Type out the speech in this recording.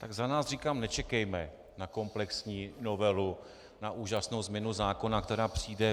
Tak za nás říkám - nečekejme na komplexní novelu, na úžasnou změnu zákona, která přijde.